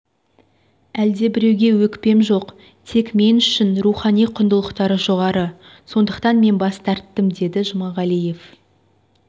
әлдебіреуге өкпем жоқ тек мен үшін рухани құндылықтар жоғары сондықтан мен бас тарттым деді жұмағалиев